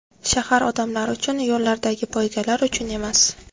Shahar odamlar uchun, yo‘llardagi poygalar uchun emas!